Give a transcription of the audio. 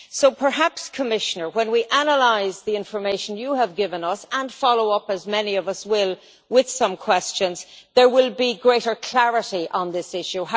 So perhaps Commissioner, when we analyse the information you have given us and follow up, as many of us will, with some questions, there will be greater clarity on this issue.